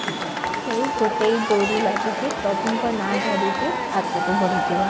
ସେଇ ଗୋଟିଏ ଡୋରି ଲାଗିଛି ପ୍ରଭୁଙ୍କ ନାଁ ଧରିକି ଆଗକୁ ବଢିଯିବା